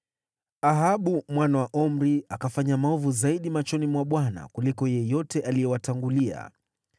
Ahabu mwana wa Omri akafanya maovu zaidi machoni mwa Bwana kuliko yeyote aliyewatangulia.